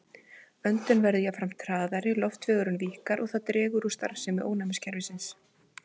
Öndun verður jafnframt hraðari, loftvegurinn víkkar og það dregur úr starfsemi ónæmiskerfisins.